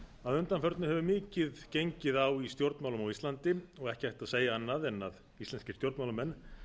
að undanförnu hefur mikið gengið á í stjórnmálum á íslandi ekki hægt að segja annað en íslenskir stjórnmálamenn